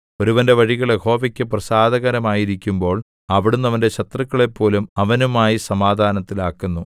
ഒരുവന്റെ വഴികൾ യഹോവയ്ക്കു പ്രസാദകരമായിരിക്കുമ്പോൾ അവിടുന്ന് അവന്റെ ശത്രുക്കളെപ്പോലും അവനുമായി സമാധാനത്തിലാക്കുന്നു